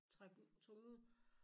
Trak den tog dem ud